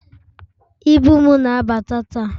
Ibu m na-abata taa